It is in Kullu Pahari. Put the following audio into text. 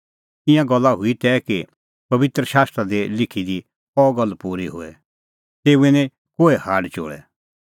ईंयां गल्ला हुई तै कि पबित्र शास्त्रा दी लिखी दी अह गल्ल हुई पूरी तेऊए निं कोहै हाड चोल़ै